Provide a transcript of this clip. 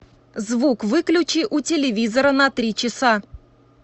звук выключи у телевизора на три часа